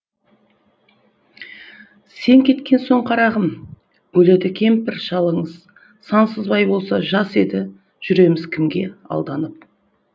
сен кеткен соң қарағым өледі кемпір шалыңыз сансызбай болса жас едіжүреміз кімге алданып